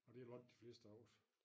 Og det nok de fleste af os